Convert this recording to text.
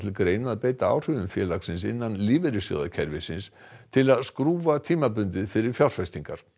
greina að beita áhrifum félagsins innan lífeyrissjóðakerfisins til að skrúfa tímabundið fyrir fjárfestingar